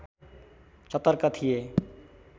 सतर्क थिए